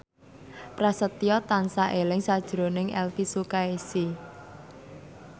Prasetyo tansah eling sakjroning Elvi Sukaesih